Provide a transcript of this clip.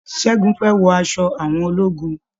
Ṣẹ́gun fẹ́ wọ aṣọ àwọn ológun.